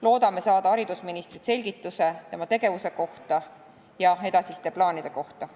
Loodame saada haridusministrilt selgituse tema tegevuse kohta ja edasiste plaanide kohta.